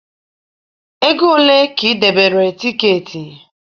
ego ole ka ị debere tiketi?